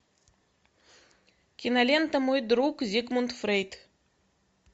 кинолента мой друг зигмунд фрейд